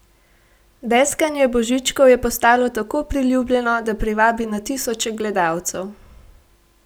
Deskanje Božičkov je postalo tako priljubljeno, da privabi na tisoče gledalcev.